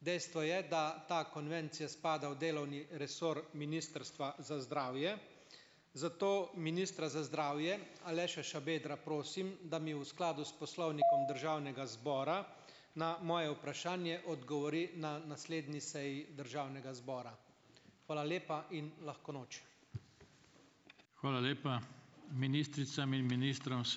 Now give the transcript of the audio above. Dejstvo je, da ta konvencija spada v delovni resor Ministrstva za zdravje, zato ministra za zdravje Aleša Šabedra prosim, da mi v skladu s Poslovnikom Državnega zbora na moje vprašanje odgovori na naslednji seji državnega zbora. Hvala lepa in lahko noč.